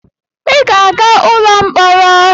I ga-aga ụlọ mkpọrọ!